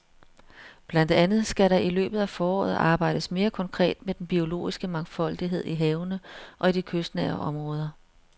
Blandt andet skal der i løbet af foråret arbejdes mere konkret med den biologiske mangfoldighed i havene og i de kystnære områder.